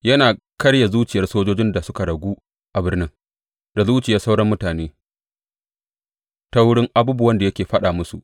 Yana karya zuciyar sojojin da suka ragu a birnin, da zuciyar sauran mutane, ta wurin abubuwan da yake faɗa musu.